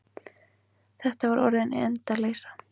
Þetta var orðin endaleysa.